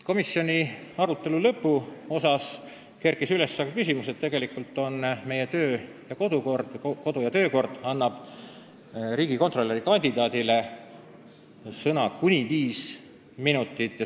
Komisjoni arutelu lõpuosas kerkis üles küsimus, et meie kodu- ja töökord annab praegu riigikontrolöri kandidaadile õiguse saada sõna kuni viis minutit.